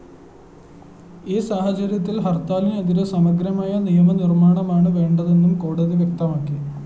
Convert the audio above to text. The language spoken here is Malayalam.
ഈ സാഹചര്യത്തില്‍ ഹര്‍ത്താലിനെതിരെ സമഗ്രമായ നിയമനിര്‍മ്മാണമാണ് വേണ്ടതെന്നും കോടതി വ്യക്തമാക്കി